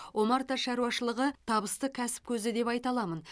омарта шаруашылығы табысты кәсіп көзі деп айта аламын